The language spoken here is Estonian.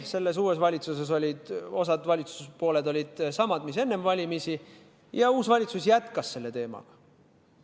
Selles uues valitsuses oli osa valitsuspooli samad, mis enne valimisi, ja uus valitsus jätkas selle teemaga.